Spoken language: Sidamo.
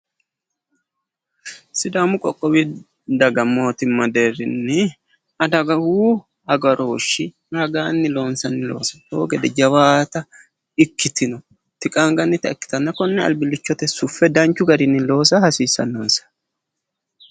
Sidaamu qoqqowi daga mootimma deerrinni adawu agarooshshi ragaanni loonsanni loosi owo geeshsha jawaata ikkitinoti qaangannita ikkitanna konne albillichote suffe loosa hasiissanno.